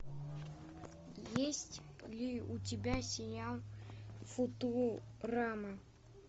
есть ли у тебя сериал футурама